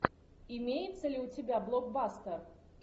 имеется ли у тебя блокбастер